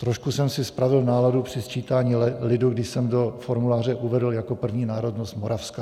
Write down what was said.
Trošku jsem si pravil náladu při sčítání lidu, kdy jsem do formuláře uvedl jako první národnost moravská.